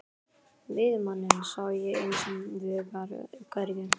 Veiðimanninn sá ég hins vegar hvergi.